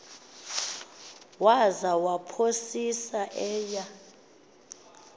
waza waphosisa eya